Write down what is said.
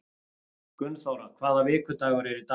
Gunnþóra, hvaða vikudagur er í dag?